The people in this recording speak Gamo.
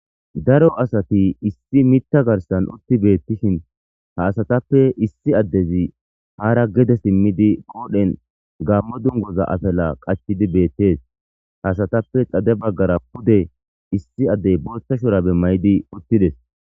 Daro asati issi mitta garsan utti beettishin ha asatappe issi addezi haara gede simmidi qoodhen gammo dungoza asala qachidi beettees ha asatappe xade baggara pude issi addey bortashorabe maydi uttides.